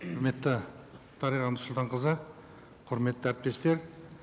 құрметті дариға нұрсұлтанқызы құрметті әріптестер